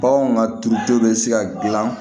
Baganw ka turudenw bɛ se ka gilan